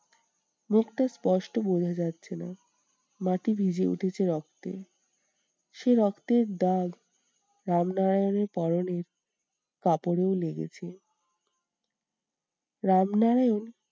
মুখটা স্পষ্ট বোঝা যাচ্ছে না। মাটি ভিজে উঠেছে রক্তে সেই রক্তের দাগ রামনারায়ণের পরনের কাপড়েও লেগেছে। রামনারায়ণ